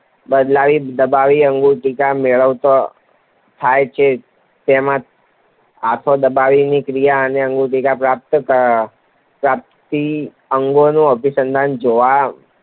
દબાવવાની પ્રતિક્રિયાઓને અંતે ઉંદરને સમજ પ્રાપ્ત થઈ કે હાથો દબાવવાથી અન્નગુટિકા પ્રાપ્ત થાય છે. ત્યારબાદ ઉંદર વારંવાર હાથો દબાવીને અન્નગુટિકા મેળવતો થાય છે, તેનામાં હાથો દબાવવાની ક્રિયા અને અન્નગુટિકાની પ્રાપ્તિ અંગેનું અભિસંધાન જોવા